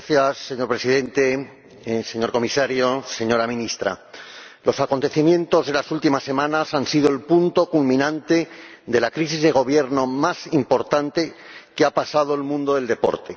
Señor Presidente, señor Comisario, señora Ministra, los acontecimientos de las últimas semanas han sido el punto culminante de la crisis de gobierno más importante que ha pasado el mundo del deporte.